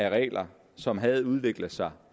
af regler som havde udviklet sig